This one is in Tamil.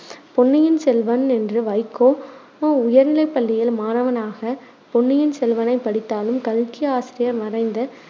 பொன்னிய்ன் செல்வன் என்ற உயர்நிலைப்பள்ளியில் மாணவனாக பொன்னியின் செல்வனைப் படித்தாலும், கல்கி ஆசிரியர் மறைந்த